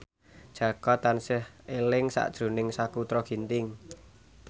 Jaka tansah eling sakjroning Sakutra Ginting